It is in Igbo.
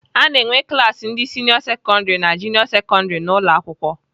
Ana enwe klaasị ndị sịnịọ sekọndrị na junịọ sekọndrị n'ụlọakwụkwọ.